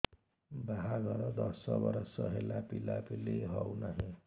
ବାହାଘର ଦଶ ବର୍ଷ ହେଲା ପିଲାପିଲି ହଉନାହି